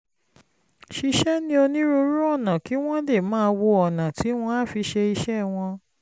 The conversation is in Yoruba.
ṣiṣẹ́ ní onírúurú ọ̀nà kí wọ́n lè máa wá ọ̀nà tí wọ́n á fi ṣe iṣẹ́ wọn